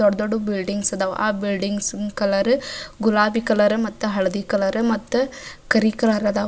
ದೊಡ್ಡ್ ದೊಡ್ಡ್ ಬಿಲ್ಡಿಂಗ್ಸ್ ಆದವು ಆಹ್ಹ್ ಬಿಲ್ಡಿಂಗ್ಸ್ ಕಲರ್ ಗುಲಾಬಿ ಕಲರ್ ಮತ್ತ ಹಳದಿ ಕಲರ್ ಮತ್ತ ಕರಿ ಕಲರ್ ಅದಾವ್.